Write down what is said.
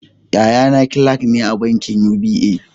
Yaya na kilak ne a bankin UBA